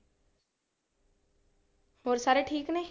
ਹੋਰ ਸਾਰੇ ਠੀਕ ਨੇ?